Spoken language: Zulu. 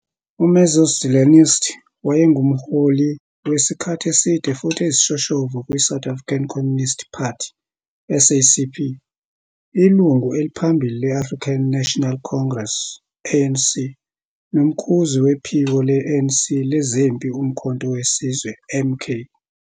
UMarxist-Leninist, wayengumholi wesikhathi eside futhi eyisishoshovu kwiSouth African Communist Party, SACP, ilungu eliphambili le- African National Congress, ANC, nomkhuzi wephiko le-ANC lezempi uMkhonto we Sizwe, MK.